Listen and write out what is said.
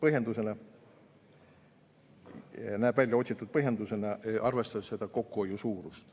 See näeb tõesti välja otsitud põhjendusena, arvestades kokkuhoiu suurust.